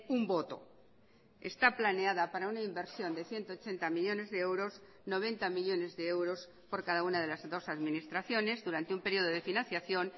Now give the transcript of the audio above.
un voto está planeada para una inversión de ciento ochenta millónes de euros noventa millónes de euros por cada una de las dos administraciones durante un período de financiación